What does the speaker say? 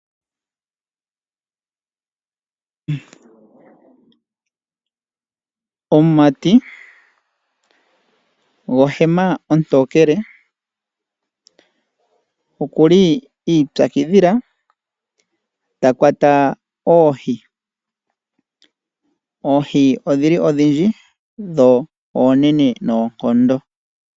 Omumati gohema ontokele oku li iipyakidhila ta kwata oohi. Oohi odhi li odhindji dho oonene noonkondo.